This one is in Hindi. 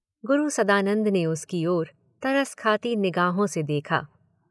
गुरू सदानंद ने उसकी ओर तरस खाती निगाहों से देखा